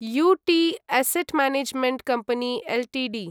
युटि asset management company Ltd